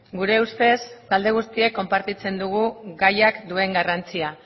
gure ustez talde guztiek konpartitzen dugu gaiak duen garrantzia